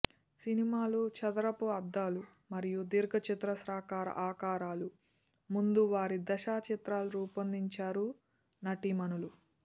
సినిమాలు చదరపు అద్దాలు మరియు దీర్ఘచతురస్రాకార ఆకారాలు ముందు వారి దశ చిత్రాలు రూపొందించారు నటీమణులు